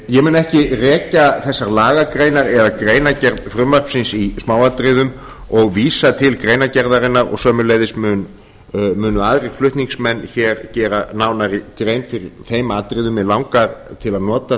ég mun ekki rekja þessar lagagreinar eða greinargerð frumvarpsins í smáatriðum og vísa til greinargerðarinnar og sömuleiðis munu aðrir flutningsmenn hér gera nánari grein fyrir þeim atriðum mig langar til að nota